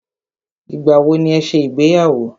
Ìgbà wọ ní ẹ ṣe ìgbéyàwó?